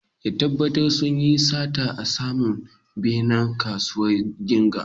Ƴan ta'adda sunyi sata a saman benen kasuwar singa